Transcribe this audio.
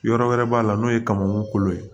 Yɔrɔ wɛrɛ b'a la n'o ye kamɔnkukolo ye